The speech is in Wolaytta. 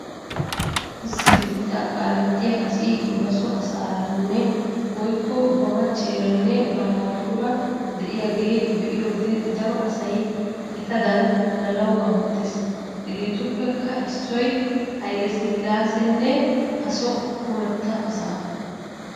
Issi biittaa kaalettiya asi ba so asaaranne woykko ba machcheeranne ba naatuura de'iyaaga be'iyoode daro asay etadan hananawu amottees. Hegeetuppekka issoy Hayle Silaasanne A soo kumetta asaa.